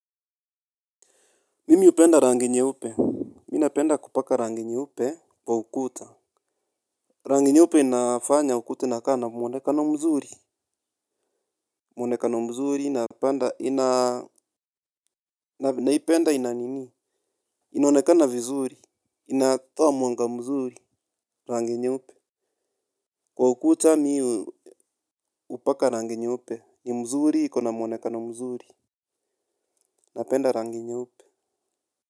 Mimi hupenda rangi nyeupe mimi napenda kupaka rangi nyeupe kwa ukuta rangi nyeupe inafanya ukuta inakaa na mwonekano mzuri mwonekano mzuri naipenda ina nini inaonekana vizuri inatoa mwanga mzuri rangi nyeupe kwa ukuta mimi hupaka rangi nyeupe ni mzuri iko na muonekano mzuri napenda rangi nyeupe.